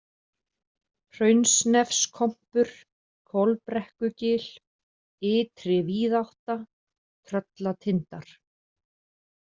Hraunsnefskompur, Kolbrekkugil, Ytri-Víðátta, Tröllatindar